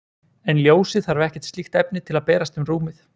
en ljósið þarf ekkert slíkt efni til að berast um rúmið